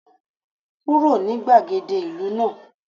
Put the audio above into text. Kúrò ní gbàgede ìlú náà